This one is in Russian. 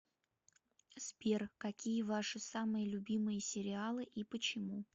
сбер какие ваши самые любимые сериалы и почему